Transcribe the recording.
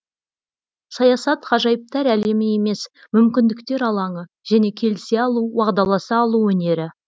саясат ғажайыптар әлемі емес мүмкіндіктер алаңы және келісе алу уағдаласа алу өнері